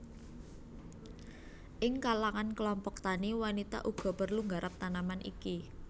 Ing kalangan kelompok tani wanita uga perlu nggarap tanaman iki